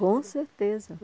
Com certeza!